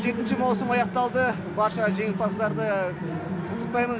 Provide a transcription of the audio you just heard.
жетінші маусым аяқталды барша жеңімпаздарды құттықтаймын